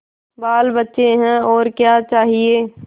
बालबच्चे हैं और क्या चाहिए